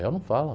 Réu não fala.